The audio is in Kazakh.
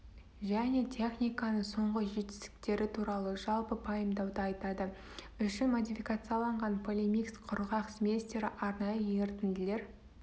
және техниканың соңғы жетістіктері туралы жалпы пайымдауды айтады үшін модификацияланған полимикс құрғақ сместері арнайы ерітінділер